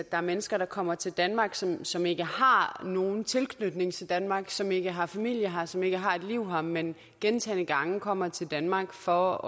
er mennesker der kommer til danmark som som ikke har nogen tilknytning til danmark som ikke har familie her som ikke har et liv her men gentagne gange kommer til danmark for